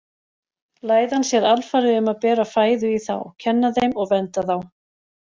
Læðan sér alfarið um að bera fæðu í þá, kenna þeim og vernda þá.